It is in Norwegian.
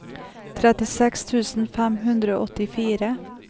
trettiseks tusen fem hundre og åttifire